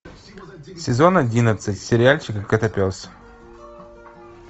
сезон одиннадцать сериальчик котопес